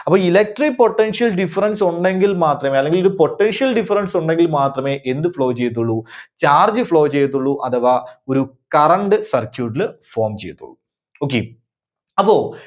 അപ്പോ Electric potential difference ഉണ്ടെങ്കിൽ മാത്രമേ അല്ലെങ്കിൽ ഒരു potential difference ഉണ്ടെങ്കിൽ മാത്രമേ എന്ത് flow ചെയ്യത്തുള്ളൂ? charge flow ചെയ്യത്തുള്ളൂ. അഥവാ ഒരു current circuit ൽ form ചെയ്യത്തുള്ളൂ. Okay. അപ്പോ